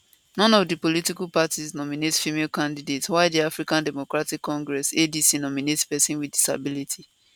none of di political parties nominate female candidate while di african democratic congress adc nominate pesin wit disability